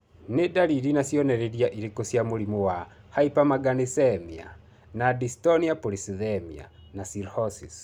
Nĩ dariri na cionereria irĩkũ cia mũrimũ wa Hypermanganesemia with dystonia polycythemia and cirrhosis?